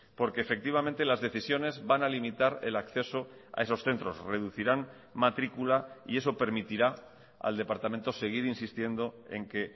porque efectivamente las decisiones van a limitar el acceso a esos centros reducirán matrícula y eso permitirá al departamento seguir insistiendo en que